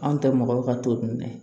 Anw tɛ mɔgɔ ka t'o minɛ